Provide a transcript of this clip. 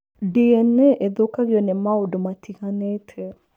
DNA ĩthũkagio nĩ maũndũ matiganĩte.